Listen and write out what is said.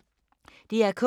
DR K